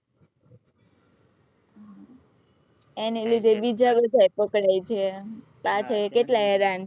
એને લીધે બીજા લોકો એ પકડાઈ ગયા સાથે કેટલા હેરાન થયા